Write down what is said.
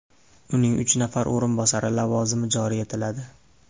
Uning uch nafar o‘rinbosari lavozimi joriy etiladi.